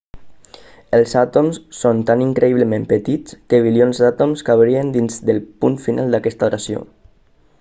els àtoms són tan increïblement petits que bilions d'àtoms cabrien dins del punt final d'aquesta oració